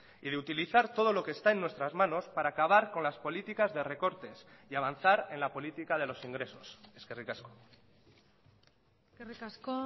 y de utilizar todo lo que está en nuestras manos para acabar con las políticas de recortes y avanzar en la política de los ingresos eskerrik asko eskerrik asko